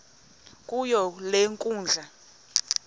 kuyo le nkundla